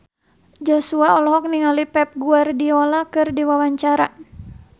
Joshua olohok ningali Pep Guardiola keur diwawancara